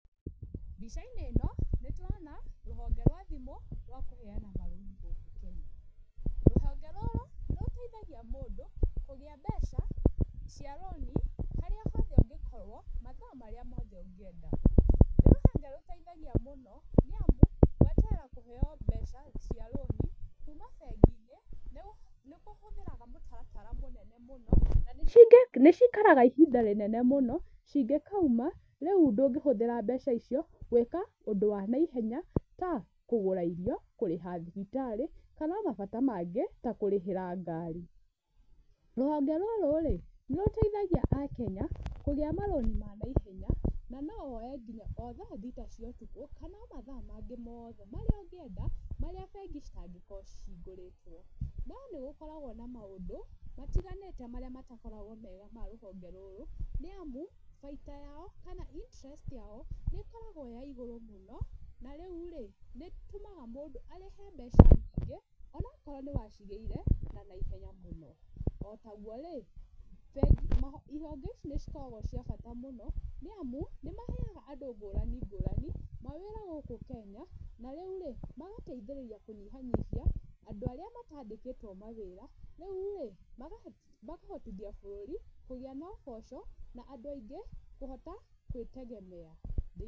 Mbica-inĩ ĩno nĩ tũrona, rũhonge rwa thimũ rwa kũheana marũni gũkũ Kenya, rũhonge rũrũ nĩ rũteithagia mũndũ kũgĩa mbeca cia rũni, harĩ hothe ũngĩkorwo mathaa marĩa mothe ũngĩkorwo ũkĩenda, nĩ rũhonge rũteithagia mũno nĩ amu, gweterera kũheo mbeca cia rũni, kuuma bengi-inĩ nĩ kũhũthĩraga mũtaratara mũnene mũno, na nĩ cikaraga ihinda rĩnene mũno, cingĩkauma, rĩu ndũngĩhũthĩra mbeca icio gwĩka ũndũ wa naihenya ta kũgũra irio, kũrĩha thibitarĩ, kana ona mabata mangĩ ta kũrĩhĩra ngaari. Rũhonge rũrũ rĩ, nĩ rũteithagia Akenya kũgĩa marũni ma naihenya, na no woe nginya o thaa thita cia ũtukũ, kana ona mathaa mangĩ mothe marĩa ũngĩenda marĩa bengi citangĩkorwo cihingũrĩtwo, no nĩgũkoragwo na maũndũ matiganĩte marĩa matakoragwo mega ma rũhonge rũrũ, nĩ amu, bainda yao, kana interest yao, nĩ ĩkoragwo ya igũrũ mũno, na rĩu rĩ, nĩ ĩtũmaga mũndũ arĩhe mbeca nyingĩ, onakorwo nĩ wacirĩire na naihenya mũno, o taguo rĩ, bengi ihonge ici nĩ cikoragwo cia bata mũno, nĩ amu nĩ maheaga andũ ngũrani ngũrani mawĩraa gũkũ Kenya, na rĩu rĩ, magateithĩrĩria kũnyihanyihia andũ arĩa matandĩkĩtwo mawĩra, rĩu rĩ, makahotithia bũrũri kũgĩa na ũboco, na andũ aingĩ kũhota gwĩtegemea.